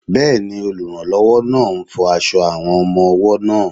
Bẹ́ẹ̀ni, olùrànlọ́wọ́ náà ń fọ aṣọ àwọn ọmọ-ọwọ́ náà